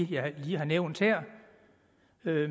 jeg lige har nævnt her